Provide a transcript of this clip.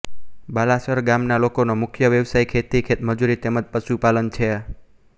બાલાસર ગામના લોકોનો મુખ્ય વ્યવસાય ખેતી ખેતમજૂરી તેમ જ પશુપાલન છે